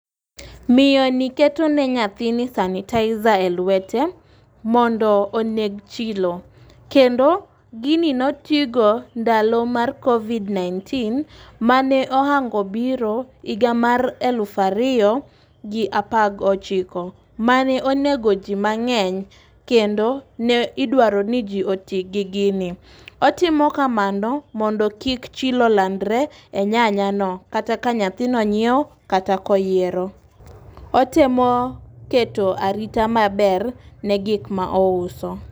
Miyo ni keto ne nyathini sanitizer e lwete mondo oneg chilo. Kendo gini notigo ndalo mar covid-nineteen mane oango biro higa mar elufa riyo gi apa gochiko manonego jii mang'eny kendo ne idwaro ni jii otii gi gini. Otimo kamano mondo kik chilo landre e nyanya no kata ka nyathino nyiewo kata koyiero. Otemo keto arita maber ne gik ma ouso.